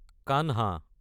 Kanhan